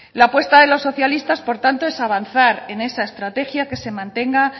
la apuesta de los socialistas por tanto es avanzar en esta estrategia que se mantenga